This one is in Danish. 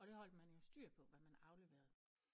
Og det holdt man jo styr på hvad man afleverede